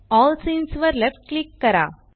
L सीन्स वर left click करा